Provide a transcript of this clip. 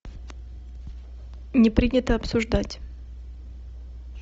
не принято обсуждать